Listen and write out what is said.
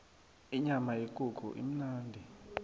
inyama yekukhu imnandi